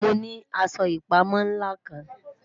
Mo ni aṣọ ipamọ nla kan